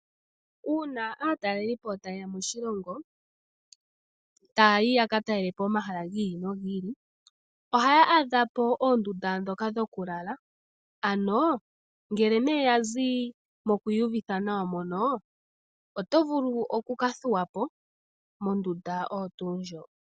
Uuna aatalelipo tayeya moshilongo tayayi yaka talelapo omahala gi ili nogi ili ohaya adhapo oondunda ndhoka dhokulala ano ngele nee yazi moku iyuvitha nawa otovulu oku kathuwapo mondunda oyo tuu ndjoka.